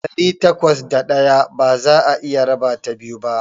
Ɗari takwas da ɗaya ba za'a iya rabata biyu ba.